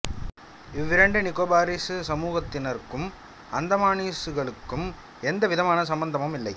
இவ் இரண்டு நிகோபார்சி சமூகத்தினருக்கும் அந்தமானீஸ்களுக்கும் எந்த விதமான சம்பந்தமும் இல்லை